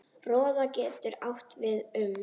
Róða getur átt við um